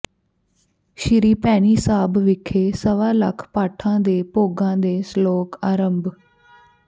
ਸ੍ਰੀ ਭੈਣੀ ਸਾਹਿਬ ਵਿਖੇ ਸਵਾ ਲੱਖ ਪਾਠਾਂ ਦੇ ਭੋਗਾਂ ਦੇ ਸਲੋਕ ਆਰੰਭ